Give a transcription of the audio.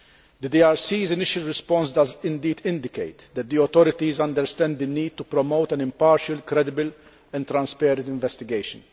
The DRC's initial response does indeed indicate that the authorities understand the need to promote an impartial, credible and transparent investigation.